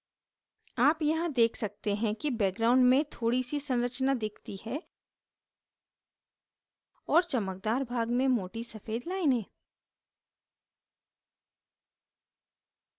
आप यहाँ देख सकते हैं कि background में थोड़ी see संरचना दिखती है और चमकदार भाग में मोटी सफ़ेद लाइनें